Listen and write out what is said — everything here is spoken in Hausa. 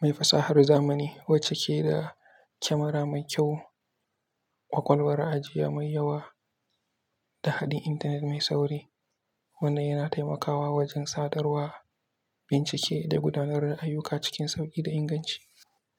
mai fasahar zamani wacce ke da kyamara mai kyau, ƙwaƙwalwar ajiya mai yawa da haɗin intanet mai sauri, wanda yana taimakawa wajen sadarwa, bincike da gudanar da ayyuka cikin sauƙi da inganci.